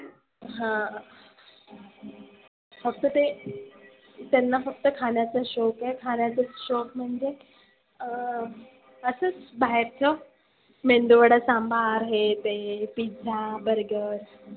हा फक्त ते त्यांना फक्त खाण्याच शोक आहे. खाण्याचा शोक म्हणजे अं असच बाहेरच. मेंदु वडा सांबार हे ते pizza, burger